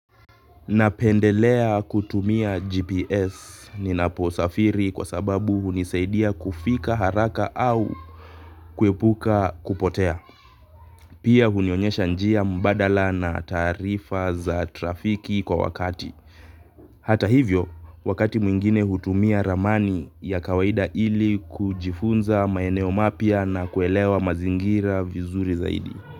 Napendelea kutumia GPS ninaposafiri kwa sababu hunisaidia kufika haraka au kuepuka kupotea. Pia hunionyesha njia mbadala na taarifa za trafiki kwa wakati. Hata hivyo, wakati mwingine hutumia ramani ya kawaida ili kujifunza maeneo mapya na kuelewa mazingira vizuri zaidi.